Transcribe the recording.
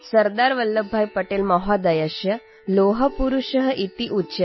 सरदारवल्लभभाईपटेलमहोदयः लौहपुरुषः इत्युच्यते